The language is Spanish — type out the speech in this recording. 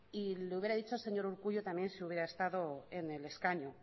y le hubiera dicho señor urkullu también si hubiera estado en el escaño